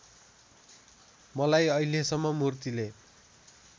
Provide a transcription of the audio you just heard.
मलाई अहिलेसम्म मूर्तिले